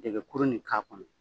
Dɛgɛkurun in k'a kɔnɔ.